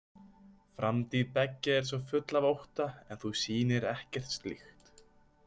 Framtíð beggja er svo full af ótta, en þú sýnir ekkert slíkt.